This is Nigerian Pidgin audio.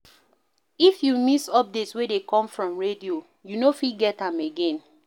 If you miss update wey dey come from radio, you no fit get am again